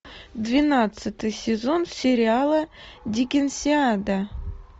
двенадцатый сезон сериала диккенсиана